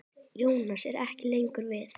Jónas er ekki lengur við.